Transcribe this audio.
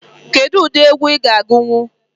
Kedụ ụdị egwu ị ga agunwu?